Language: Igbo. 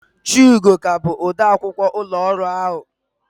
Chiugo ka bụkwa odeakwụkwọ ụlọ ọrụ ahụ.